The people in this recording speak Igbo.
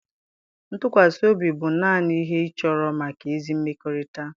ntụkwasị obi bụ naanị ihe ịchọrọ maka ezi mmekọrịta.